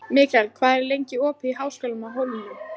Mikkel, hvað er lengi opið í Háskólanum á Hólum?